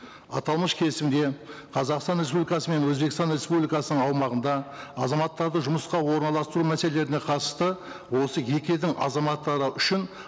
аталмыш келісімде қазақстан республикасы мен өзбекстан республикасының аумағында азаматтарды жұмысқа орналастыру мәселелеріне қатысты осы екі елдің азаматтары үшін